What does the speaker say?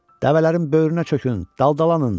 Dəvələrin böyrünə çökün, daldalanın.